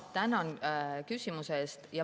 Tänan küsimuse eest.